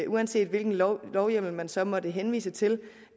uanset hvilken lovhjemmel man så måtte henvise til